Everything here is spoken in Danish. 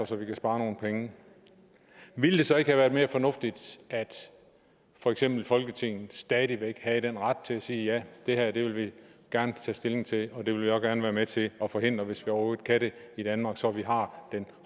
så vi kan spare nogle penge ville det så ikke have været mere fornuftigt at for eksempel folketinget stadig væk havde den ret til at sige ja det her vil vi gerne tage stilling til og det vil vi også gerne være med til at forhindre hvis vi overhovedet kan det i danmark så vi har den